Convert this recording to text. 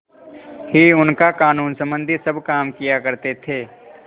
ही उनका कानूनसम्बन्धी सब काम किया करते थे